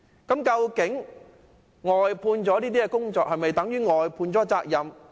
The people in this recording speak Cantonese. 外判工程是否等於外判責任？